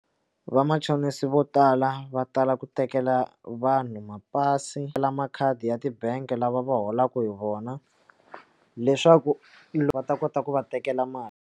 Vamachonisi vo tala va tala ku tekela vanhu mapasi na makhadi ya tibank lava va holaka hi vona leswaku va ta kota ku va tekela mali.